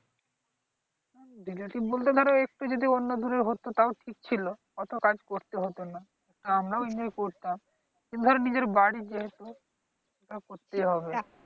relative বলতে ধর একটু যদি অন্য দূরে হত তাউ ঠিক ছিল। অত কাজ করতে হত না, আমরাও enjoy করতাম। ধর নিজের বাড়ীর যেহেতু তা করতেই হবে।